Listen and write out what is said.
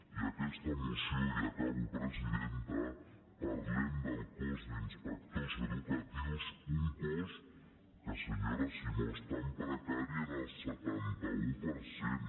i en aquesta moció i acabo presidenta parlem del cos d’inspectors educatius un cos que senyora simó està en precari en el setanta un per cent